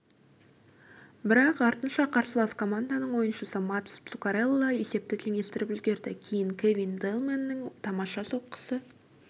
бірақ артынша қарсылас команданың ойыншысы матс цуккарелло есепті теңестіріп үлгерді кейін кевин даллмэннің тамаша соққысы